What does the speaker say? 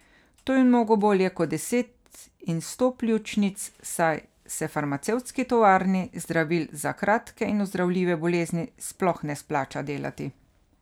To je mnogo bolje kot deset in sto pljučnic, saj se farmacevtski tovarni zdravil za kratke in ozdravljive bolezni sploh ne splača delati.